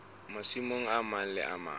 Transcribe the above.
masimong a mang le a